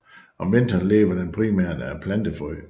Om vinteren lever den primært af plantefrø